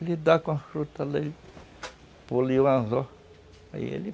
Ele dá com as frutas ali, põe ali o anzol, aí ele